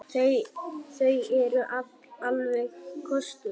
Þau eru alveg kostuleg.